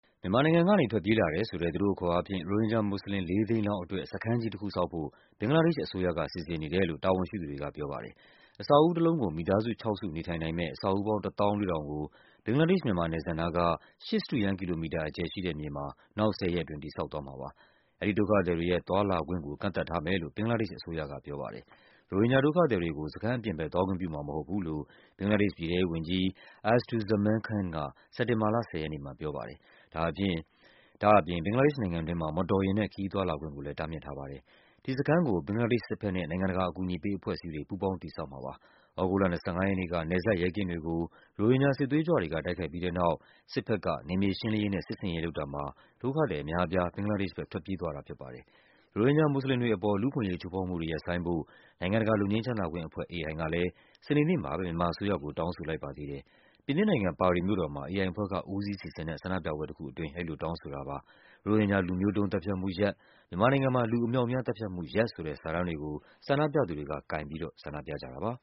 မြန်မာနိုင်ငံကနေ ထွက်ပြေးလာတယ်ဆိုတဲ့ - သူတို့အခေါ်အားဖြင့် - ရိုဟင်ဂျာမွတ်စလင် ၄၀၀,၀၀၀ လောက်အတွက် စခန်းကြီး တခုဆောက်ဖို့ ဘင်္ဂလားဒေ့ရှ်အစိုးရက စီစဉ်နေတယ်လို့ တာဝန်ရှိသူတွေကပြောပါတယ်။ အဆောက်အဦးတလုံးကို မိသားစု ၆ စု နေထိုင်နိုင်မယ့် အဆောက်အဦးပေါင်း ၁၄,၀၀၀ ကို ဘင်္ဂလားဒေ့ရှ်-မြန်မာနယ်စပ်နားက ၈ စတုရန်း ကီလိုမီတာ အကျယ်ရှိတဲ့မြေမှာ နောက် ၁၀ ရက်အတွင်း တည်ဆောက်သွားမှာပါ။ အဲဒီဒုက္ခသည်တွေရဲ့ သွားလာခွင့်ကို ကန့်သတ်ထားမယ်လို့ ဘင်္ဂလားဒေ့ရှ်အစိုးရက ပြောပါတယ်။ ရိုဟင်ဂျာဒုက္ခသည်တွေကို စခန်းအပြင်ဘက် သွားခွင့် ပြုမှာမဟုတ်ဘူးလို့ ဘင်္ဂလားဒေ့ရှ်ပြည်ထဲရေးဝန်ကြီး Asaduzzaman Khan က စက်တင်ဘာလ ၁၀ ရက်နေ့မှာပြောပါတယ်။ ဒါ့အပြင် ဘင်္ဂလားဒေ့ရှ် နိုင်ငံတွင်းမှာ မော်တော်ယာဉ်နဲ့ ခရီးသွားလာခွင့်ကိုလဲ တားမြစ်ထားပါတယ်။ ဒီစခန်းကို ဘင်္ဂလားဒေ့ရှ်စစ်ဘက်နဲ့ နိုင်ငံတကာ အကူအညီပေးအဖွဲ့အစည်းတွေ ပူးပေါင်း တည်ဆောက်မှာပါ။ သြဂုတ်လ ၂၅ ရက်နေ့က နယ်စပ် ရဲကင်းတွေကို ရိုဟင်ဂျာ စစ်သွေးကြွတွေက တိုက်ခိုက်ပြီးတဲ့နောက် စစ်ဘက်က နယ်မြေရှင်းလင်းရေးနဲ့ စစ်ဆင်ရေးလုပ်တာမှာ ဒုက္ခသည်အများအပြား ဘင်္ဂလားဒေ့ရှ်ဘက် ထွက်ပြေး သွားတာဖြစ်ပါတယ်။ ရိုဟင်ဂျာမွတ်စလင်တွေအပေါ် လူ့အခွင့်အရေးချိုးဖောက်မှုတွေ ရပ်ဆိုင်းဖို့ နိုင်ငံတကာ လွတ်ငြိမ်းချမ်းသာခွင့်အဖွဲ့ AI ကလဲ စနေနေ့မှာပဲ မြန်မာအစိုးရကို တောင်းဆိုလိုက် ပါသေးတယ်။ ပြင်သစ်နိုင်ငံ၊ ပါရီမြို့တော်မှာ AI အဖွဲ့က ဦးစီးစီစဉ်တဲ့ ဆန္ဒပြပွဲတခု အတွင်း အဲဒီလိုတောင်းဆိုတာပါ။ ရိုဟင်ဂျာ လူမျိုးတုန်း သတ်ဖြတ်မှု ရပ်၊ မြန်မာနိုင်ငံမှာ လူအမြောက်အများ သတ်ဖြတ်မှု ရပ် ဆိုတဲ့ စာတန်းတွေကို ဆန္ဒပြသူတွေ က ကိုင်ပြီးတော့ ဆန္ဒပြကြတာပါ